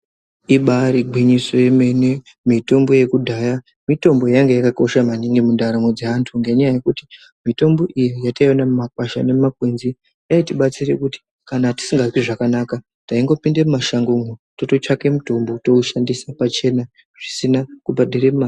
Ibairi ngwinyiso ye mene mitombo yekudhaya mitombo yainga yakakosha maningi mu ndaramo dze antu ngenya yekuti mitombo iyi yataiona mu makwasha ne mu makwenzi yaiti batsire kuti kana tsingazwi zvakanaka taingo pinde mu mashango mwo totsvake mutombo towu shandisa pachena zvisina kubhadhare mare.